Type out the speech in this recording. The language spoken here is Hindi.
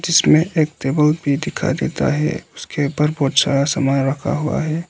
जिसमें एक टेबल भी दिखाई देता है जिसके ऊपर बहोत सारा सामान रखा हुआ है।